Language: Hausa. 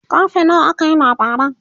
karfe nawa aka yi labaran?